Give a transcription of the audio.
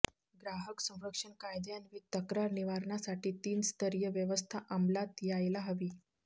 ग्राहक संरक्षण कायद्यान्वये तक्रार निवारणासाठी तीनस्तरीय व्यवस्था अंमलात यायला हवी